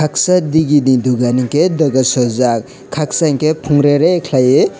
side digini dokan hinkhe doga sojak khaksa hinkhe phungrere khlaiui.